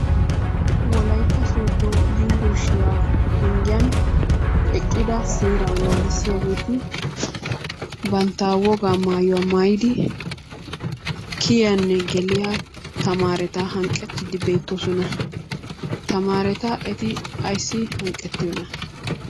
Wolaytta sodo yumburshiya penggiyan eqqida seeraa naagissiyageeti bantta wogaa mayuwa mayidi kiyiyanne geliya tamaareta hanqqettiiddi beettoosona. Tamaareta eti ayissi hanqqettiyona?